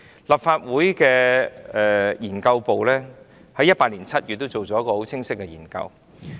立法會秘書處資料研究組在2018年7月進行了一項很清晰的研究。